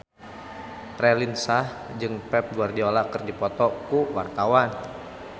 Raline Shah jeung Pep Guardiola keur dipoto ku wartawan